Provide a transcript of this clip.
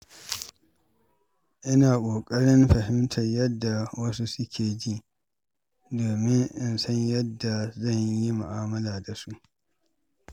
Ina ƙoƙarin fahimtar yadda wasu ke ji domin in san yadda zan yi mu’amala da su.